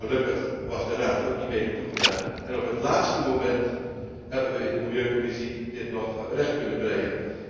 Gelukkig was de Raad ook die mening toegedaan en op het laatste moment hebben we dit in de Commissie milieu nog recht kunnen breien.